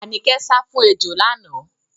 Àníkẹ́ sá fún ejò lánàá.